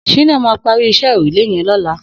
Shina mà pàrí iṣẹ̀ órúlé yèn lọ̀lá